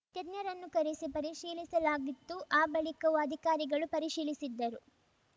ತಜ್ಞರನ್ನು ಕರೆಸಿ ಪರಿಶೀಲಿಸಲಾಗಿತ್ತು ಆ ಬಳಿಕವೂ ಅಧಿಕಾರಿಗಳು ಪರಿಶೀಲಿಸಿದ್ದರು